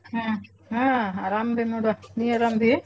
ಹ್ಮ್‌ ಹಾ ಅರಮದೇನ್ ನೋಡ್ವ ನೀ ಅರಾಮದಿ?